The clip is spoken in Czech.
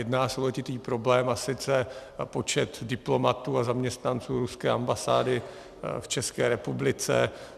Jedná se o letitý problém, a sice počet diplomatů a zaměstnanců ruské ambasády v České republice.